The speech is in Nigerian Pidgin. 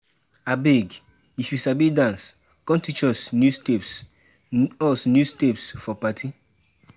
Abeg, if you sabi dance, come teach us new steps us new steps for party.